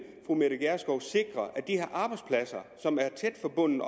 fru mette gjerskov sikre at de her arbejdspladser som er tæt forbundet